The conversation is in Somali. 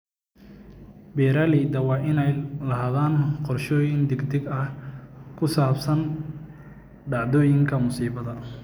Beeralayda waa inay lahaadaan qorshooyin degdeg ah oo ku saabsan dhacdooyinka musiibada.